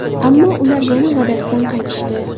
Ammo ular yana va’dasidan qaytishdi.